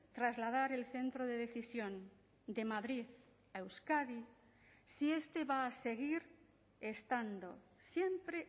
trasladar el centro de decisión de madrid a euskadi si este va a seguir estando siempre